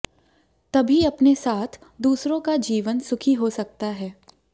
तभी अपने साथ दूसरों का जीवन सुखी हो सकता है